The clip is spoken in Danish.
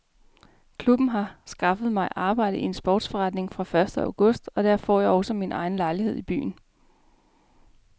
Klubben har skaffet mig arbejde i en sportsforretning fra første august og der får jeg også min egen lejlighed i byen.